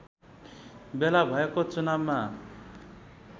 बेला भएको चुनावमा